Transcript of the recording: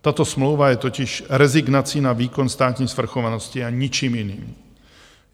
Tato smlouva je totiž rezignací na výkon státní svrchovanosti a ničím jiným.